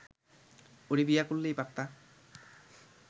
ওরে বিয়া করলেই পারতা